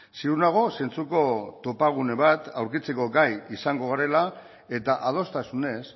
ziur nago zentzuko topagune bat aurkitzeko gai izango garela eta adostasunez